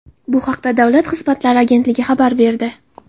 Bu haqda Davlat xizmatlari agentligi xabar berdi.